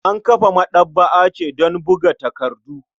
An kafa maɗaba'a ce don buga takardu.